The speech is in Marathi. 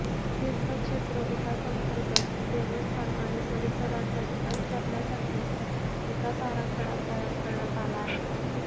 तिर्थक्षेत्र विकासांतर्गत देवस्थान आणि परिसराचा विकास करण्यासाठी विकास आराखडा तयार करण्यात आला आहे